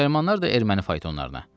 Müsəlmanlar da erməni faytonlarına.